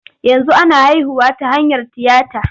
Yanzu ana haihuwa ta hanyar tiyata.